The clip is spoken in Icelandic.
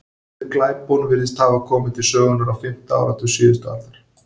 Orðið glæpon virðist hafa komið til sögunnar á fimmta áratug síðustu aldar.